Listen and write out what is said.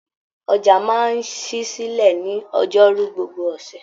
Ọjà máa ṣí silẹ ní ọjọ́rú gbogbo ọṣẹ.